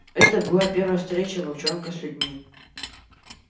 это была первая встреча волчонка с людьми